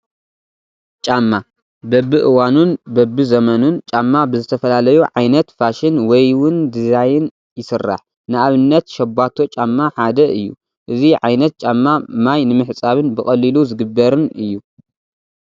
ጫማ፡- በብእዋኑን በብዘመኑን ጫማ ብዝተፈላለዩ ዓ/ት ፋሽን ወይ ውን ዲዛይን ይስራሕ፡፡ ንኣብነት ሸባቶ ጫማ ሓደ እዩ፡፡ እዚ ዓ/ት ጫማ ማይ ንምሕፃብን ብቐሊሉ ዝግበርን እዩ፡፡